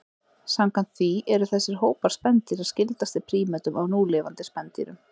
Samkvæmt því eru þessir hópar spendýra skyldastir prímötum af núlifandi spendýrum.